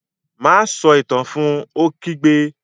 Má a sọ Itàn náà fun! Ó kígbe